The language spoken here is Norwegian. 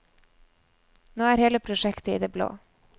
Nå er hele prosjektet i det blå.